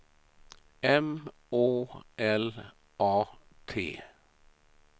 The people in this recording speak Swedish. M Å L A T